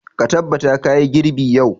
Ka tabbata ka yi girbi yau!